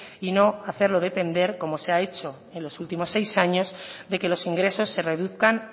y no hacerlo depender como se ha hecho en los últimos seis años de que los ingresos se reduzcan